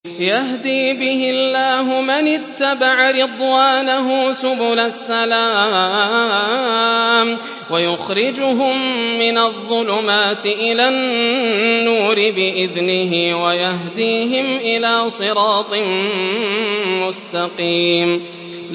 يَهْدِي بِهِ اللَّهُ مَنِ اتَّبَعَ رِضْوَانَهُ سُبُلَ السَّلَامِ وَيُخْرِجُهُم مِّنَ الظُّلُمَاتِ إِلَى النُّورِ بِإِذْنِهِ وَيَهْدِيهِمْ إِلَىٰ صِرَاطٍ مُّسْتَقِيمٍ